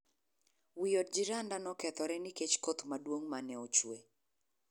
Wii od jiranda nokethore nikech koth maduong' mane ochwe.